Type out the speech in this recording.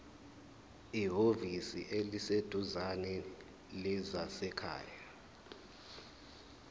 ehhovisi eliseduzane lezasekhaya